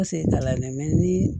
ni